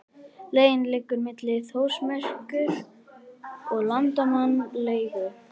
Leiðin liggur milli Þórsmerkur og Landmannalauga.